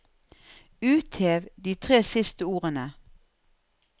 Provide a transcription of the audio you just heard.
Uthev de tre siste ordene